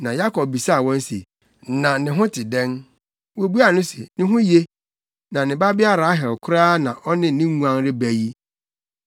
Na Yakob bisaa wɔn se, “Na ne ho te dɛn?” Wobuaa no se, “Ne ho ye. Na ne babea Rahel koraa na ɔne ne nguan reba yi.”